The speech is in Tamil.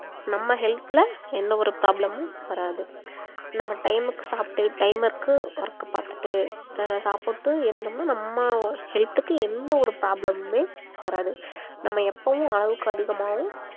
நம்ம health ல எந்த ஒரு problem உம் வராது நம்ம time க்கு சாப்பிட்டு timeக்கு work பாத்துட்டு அஹ் சாப்புட்டு இருந்தோம்னா நம்ம health க்கு எந்த ஒரு problem உமே வராது நம்ம எப்பவும் அளவுக்கு அதிகமாகவும் சாப்பிட கூடாது